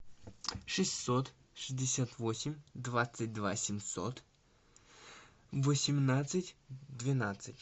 шестьсот шестьдесят восемь двадцать два семьсот восемнадцать двенадцать